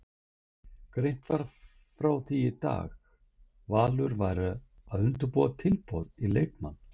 Greint var frá því í dag Valur væri að undirbúa tilboð í leikmanninn.